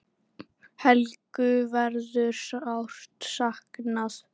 Helgu verður sárt saknað.